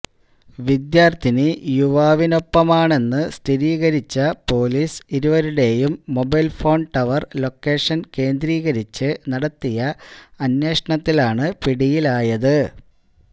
വിദ്യാര്ഥിനി യുവാവിനൊപ്പമാണെന്ന് സ്ഥിരീകരിച്ച പൊലീസ് ഇരുവരുടെയും മൊബൈല് ഫോണ് ടവര് ലൊക്കേഷന് കേന്ദ്രീകരിച്ച് നടത്തിയ അന്വേഷണത്തിലാണ് പിടിയിലായത്